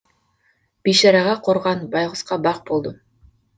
бейшараға қорған байғұсқа бақ болдым